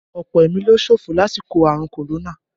Ọ̀pọ̀ ẹ̀mí ló ṣòfò lásìkò àrùn Korona